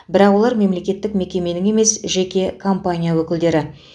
бірақ олар мемлекеттік мекеменің емес жеке компания өкілдері